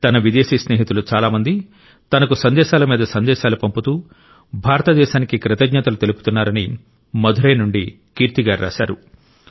తన విదేశీ స్నేహితులు చాలా మంది తనకు సందేశాల మీద సందేశాలు పంపుతూ భారతదేశానికి కృతజ్ఞతలు తెలుపుతున్నారని మదురై నుండి కీర్తి గారు రాశారు